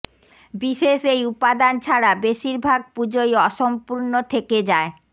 বিশেষ এই উপাদান ছাড়া বেশিরভাগ পুজোই অসম্পূর্ণ থেকে যায়